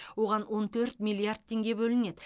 оған он төрт миллиард теңге бөлінеді